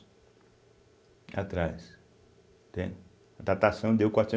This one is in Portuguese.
Atrás, entende. A datação deu quatrocen